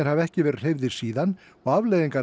hafa ekki verið hreyfðir síðan og afleiðingar